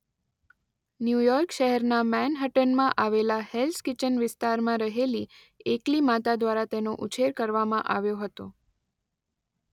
New York શહેરના મેનહટ્ટનમાં આવેલા હેલ્સ કિચન વિસ્તારમાં રહેલી એકલી માતા દ્વારા તેનો ઉછેર કરવામાં આવ્યો હતો.